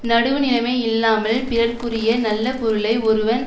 நடுவுநிலைமை இல்லாமல் பிறர்க்குரிய நல்ல பொருளை ஒருவன்